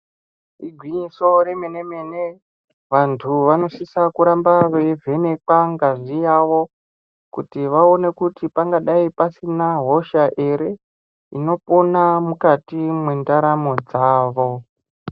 Igwinyiso remene -mene vantu vanosisa kuramba veivhenekwa ngazi yavo kuti vaone kuti pangadai pasina hosha ere inopona mukati mwendaramo dzavo.